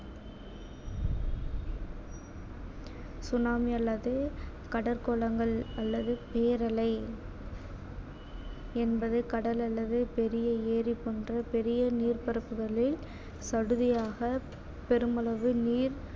tsunami அல்லது கடற்கோளங்கள் அல்லது பேரலை என்பது கடல் அல்லது பெரிய ஏரி போன்ற பெரிய நீர்பரப்புகளில் சடுதியாக பெருமளவு நீர்